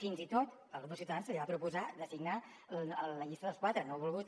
fins i tot al grup de ciutadans se li va proposar de signar la llista dels quatre no ha volgut